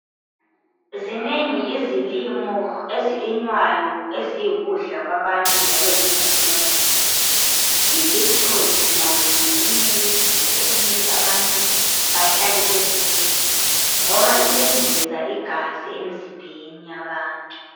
Zinengi izilimo ezilinywayo eziyikudla kwabantu njalo zingumuthi. Ibeetroot layo ngeyinye yezinto okumele abantu bahlale bezidla ngoba iyengeza igazi emzimbeni yabantu.